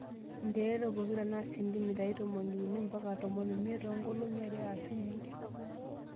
Nterere pokira naa sentimitai tomoniuni mpaka tomon omiet too nkolong'I are aashu uni.